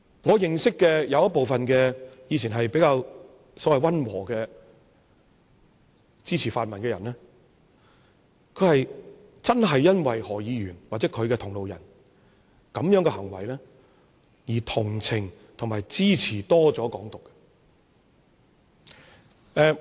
我認識部分過往比較溫和的泛民支持者，他們真的因為何議員或其同路人這樣的行為，而同情和多了支持"港獨"。